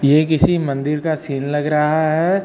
ये किसी मंदिर का सीन लग रहा है।